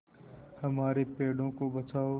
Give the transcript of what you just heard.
हमारे पेड़ों को बचाओ